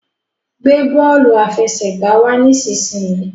gbé bóòlù àfẹsẹ̀gbá wá nísìsiyìí!